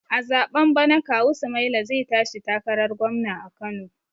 A zaɓen bana kawu sumaila zai tashi takarar gwamna a kano